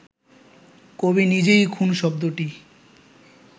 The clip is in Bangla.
কবি নিজেই ‘খুন’ শব্দটি